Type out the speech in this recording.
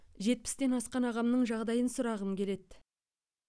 жетпістен асқан ағамның жағдайын сұрағым келеді